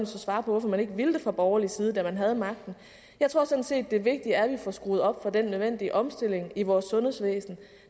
så svare på hvorfor man ikke ville det fra borgerlig side da man havde magten jeg tror sådan set at det vigtige er at vi får skruet op for den nødvendige omstilling i vores sundhedsvæsen